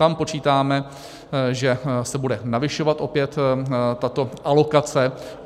Tam počítáme, že se bude navyšovat opět tato alokace.